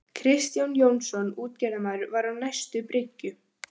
Kristján Jónsson útgerðarmaður var á næstu bryggju.